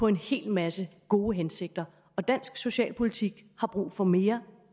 en hel masse gode hensigter og dansk socialpolitik har brug for mere